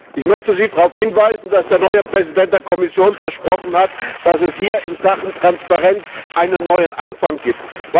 Ich möchte Sie darauf hinweisen, dass der neue Präsident der Kommission versprochen hat, dass es hier in Sachen Transparenz einen neuen Anfang gibt.